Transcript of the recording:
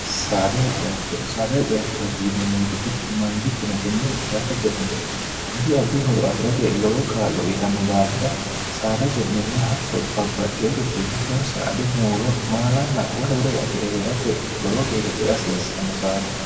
saada haciattooti yine moyixitechu mangittino tenne saada ce'ne haddi addi horo afi'rate lowo kaa'lo uyitanno daafira saada ce'nenna hatto babbaxxeyoricho giddonsa adu muulo maalanna wole wolori afi're hee'rate lowo geeshsha cee hasiissanno saada